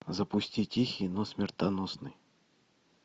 запусти тихий но смертоносный